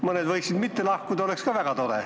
Mõned aga võiksid mitte lahkuda, oleks ka väga tore.